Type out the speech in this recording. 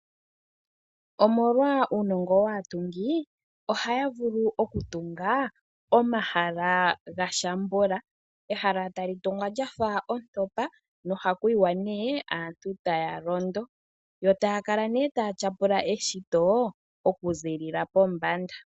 Omolwa uunongo waatungi ohaya vulu okutunga omahala gashambula. Ehala tali tungwa lya fa ontopa nohaku yiwa nee aantu taya londo yo taya kala neetaya tyapula eshito okuziilila pombanda.